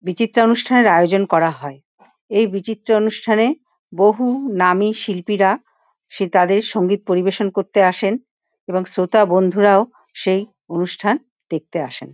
বিচিত্রা অনুষ্ঠানের আয়োজন করা হয়। এই বিচিত্রা অনুষ্ঠানে বহু নামী শিল্পীরা সে তাদের সঙ্গীত পরিবেশন করতে আসেন এবং শ্রোতা বন্ধুরাও সেই অনুষ্ঠান দেখতে আসেন ।